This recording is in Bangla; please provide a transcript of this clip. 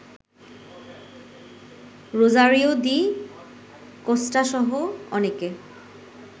রোজারিও ডি কস্টাসহ অনেকে